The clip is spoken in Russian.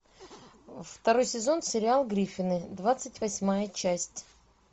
второй сезон сериал гриффины двадцать восьмая часть